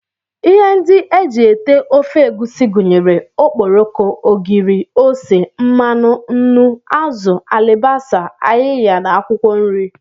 Ihe ndị e ji ete ofe egusi gụnyere okporoko, ogiri, ose, mmanụ, nnu, azụ, alibasa, ayiya na akwụkwọ nri